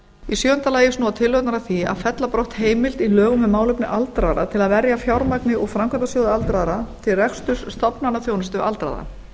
í sjöunda lagi snúa tillögurnar að því að fella á brott heimild í lögum um málefni aldraðra til að verja fjármagni úr framkvæmdasjóði aldraðra til reksturs stofnanaþjónustu aldraðra